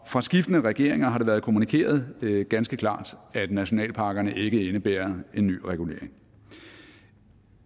fra skiftende regeringer har det været kommunikeret ganske klart at nationalparkerne ikke indebærer en ny regulering